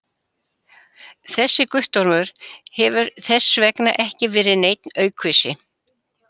Þessi Guttormur hefur þess vegna ekki verið neinn aukvisi!